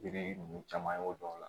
Biriki ninnu caman y'o dɔn o la